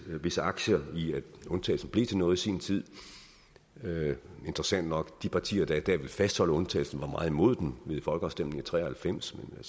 visse aktier i at undtagelsen blev til noget i sin tid interessant nok de partier der i dag vil fastholde undtagelsen var meget imod den ved folkeafstemningen tre og halvfems men